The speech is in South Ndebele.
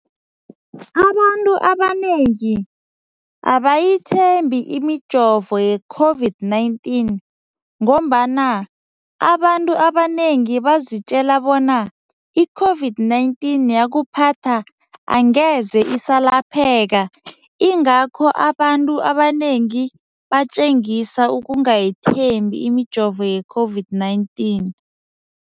Abantu abanengi abayithembi imijovo ye-COVID-19 ngombana abantu abanengi bazitjela bona i-COVID-19 yakuphatha angeze isalapheka ingakho abantu abanengi batjengisa ukungayithembi imijovo ye-COVID-19.